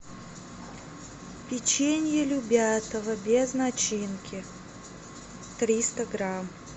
печенье любятово без начинки триста грамм